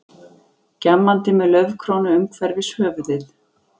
Gjammandi með laufkrónu umhverfis höfuðið.